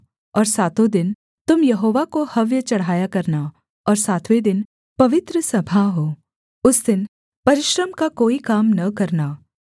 और सातों दिन तुम यहोवा को हव्य चढ़ाया करना और सातवें दिन पवित्र सभा हो उस दिन परिश्रम का कोई काम न करना